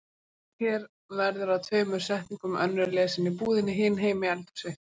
Opnist hér verður að tveimur setningum, önnur lesin í búðinni, hin heima í eldhúsi.